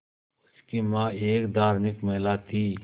उनकी मां एक धार्मिक महिला थीं